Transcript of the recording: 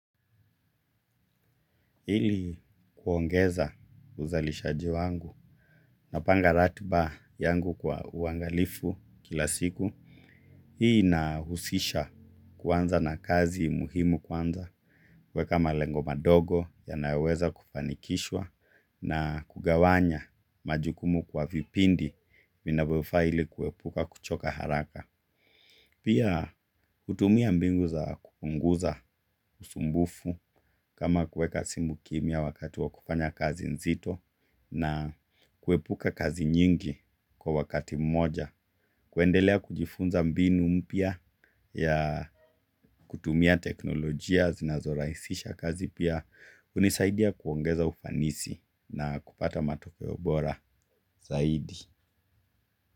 Ili kuongeza uzalishaji wangu. Napanga ratiba yangu kwa uangalifu kila siku. Hii nahusisha kuanza na kazi muhimu kwanza kueka malengo madogo yanayoweza kufanikishwa na kugawanya majukumu kwa vipindi vinavyofaa ili kuepuka kuchoka haraka. Pia kutumia mbinu za kupunguza usumbufu kama kuweka simu kimya wakati wa kufanya kazi nzito na kuepuka kazi nyingi kwa wakati mmoja. Kuendelea kujifunza mbinu mpya ya kutumia teknolojia zinazorahisisha kazi pia hunisaidia kuongeza ufanisi na kupata matokeo bora zaidi.